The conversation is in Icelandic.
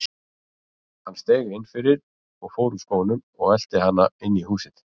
Hann steig inn fyrir, fór úr skónum og elti hana inn í húsið.